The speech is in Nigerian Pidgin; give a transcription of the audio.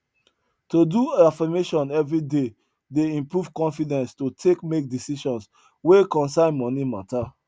to do affirmation every day dey improve confidence to take make decisions wey concern money matter